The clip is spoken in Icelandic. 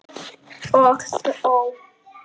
Og þó?